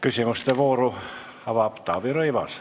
Küsimuste vooru avab Taavi Rõivas.